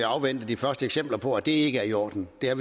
afvente de første eksempler på at det ikke er i orden vi har